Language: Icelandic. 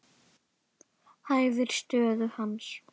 Hæfir stöðu hans.